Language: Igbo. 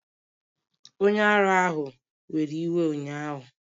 Onye ara ahụ were iwe ụnyahụ